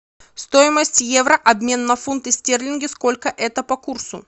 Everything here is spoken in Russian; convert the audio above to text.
стоимость евро обмен на фунты стерлинги сколько это по курсу